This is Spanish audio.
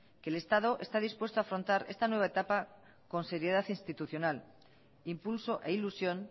que el estado está dispuesto a afrontar esta nueva etapa con seriedad institucional impulso e ilusión